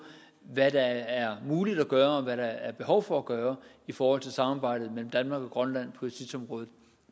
hvad der er muligt at gøre og hvad der er behov for at gøre i forhold til samarbejdet mellem danmark og grønland på justitsområdet